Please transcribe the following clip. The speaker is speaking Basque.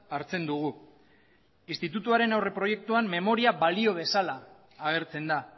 hartzen dugu institutuaren aurreproiektuan memoria balio bezala agertzen da